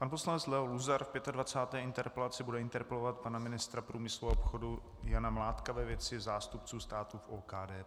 Pan poslanec Leo Luzar v 25. interpelaci bude interpelovat pana ministra průmyslu a obchodu Jana Mládka ve věci zástupců státu v OKD.